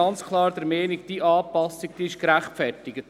Ich bin ganz klar der Meinung, diese Anpassung sei gerechtfertigt.